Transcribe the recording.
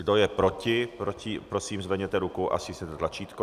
Kdo je proti, prosím, zvedněte ruku a stiskněte tlačítko.